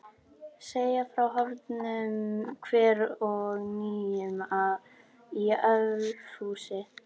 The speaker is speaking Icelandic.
segja frá horfnum hver og nýjum í Ölfusi.